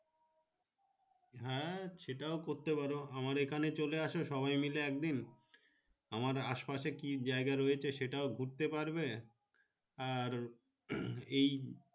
হ্যাঁ সেটাও করতে পারো আমার এখানে চলে এস সবাই মেলে একদিন আমের আশপাশে কি যাই গা রয়েছে সেটাও ঘুরতে পারবে আর হম এই।